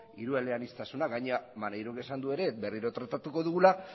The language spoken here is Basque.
hirueleaniztasuna gainera maneirok esan du ere berriro tratatuko dugula